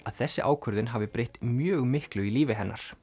að þessi ákvörðun hafi breytt mjög miklu í lífi hennar